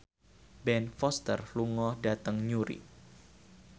Ben Foster lunga dhateng Newry